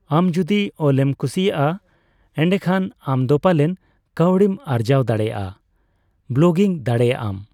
ᱟᱢ ᱡᱚᱫᱤ ᱚᱞ ᱮᱢ ᱠᱩᱥᱤᱭᱟᱜᱼᱟ, ᱮᱱᱰᱮᱠᱷᱟᱱ ᱟᱢᱫᱚ ᱯᱟᱞᱮᱱ ᱠᱟᱹᱣᱰᱤᱢ ᱟᱨᱡᱟᱣ ᱫᱟᱲᱮᱭᱟᱜᱼᱟ ᱾ ᱵᱞᱚᱜᱤᱝ ᱫᱟᱲᱮᱭᱟᱜᱼᱟᱢ